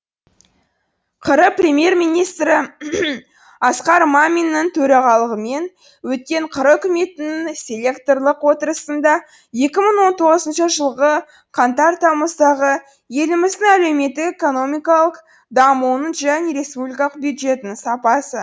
қр премьер министрі асқар маминнің төрағалығымен өткен қр үкіметінің селекторлық отырысында екі мың он тоғызыншы жылғы қаңтар тамыздағы еліміздің әлеуметтік экономикалық дамуының және республикалық бюджетінің сапасы